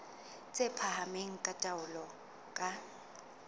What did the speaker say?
tse phahameng tsa taolo ka